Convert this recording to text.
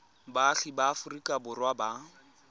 baagi ba aforika borwa ba